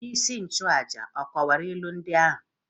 Onyeisi nchụàjà ọ̀ kọwara ilu ndị ahụ?